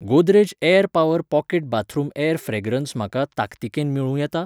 Godrej air power pocket bathroom air fragrance म्हाका ताकतिकेन मेळूं येता?